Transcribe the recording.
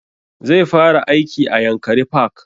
Zai fara aiki a yankari park